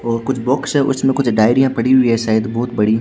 और कुछ बॉक्स है उसमें कुछ डायरिया पड़ी हुई है शायद बहोत बड़ी--